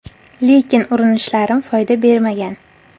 Lekin urinishlarim foyda bermagan.